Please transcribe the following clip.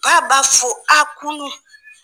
Ba b'a fo a kunu.